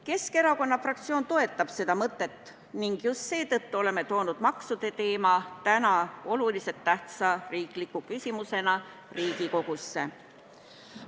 Keskerakonna fraktsioon toetab seda mõtet ning just seetõttu oleme toonud maksude teema täna oluliselt tähtsa riikliku küsimusena Riigikogusse.